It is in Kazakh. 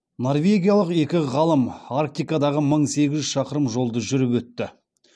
норвегиялық екі ғалым арктикадағы мың сегіз жүз шақырым жолды жүріп өтті